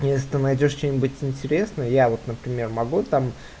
если ты найдёшь что-нибудь интересное я вот например могу там